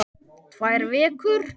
Tvær vikur?